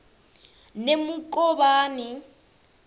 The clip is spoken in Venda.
nemukovhani